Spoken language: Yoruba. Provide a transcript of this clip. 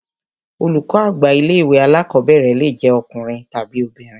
Olùkọ́ àgbà ilé ìwé alákọ̀berẹ̀ le jẹ ọkùnrin tàbi obìnrin.